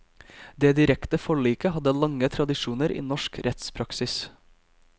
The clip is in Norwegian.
Det direkte forliket hadde lange tradisjoner i norsk rettspraksis.